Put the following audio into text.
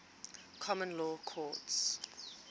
common law courts